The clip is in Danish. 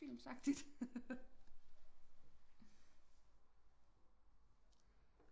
films agtigt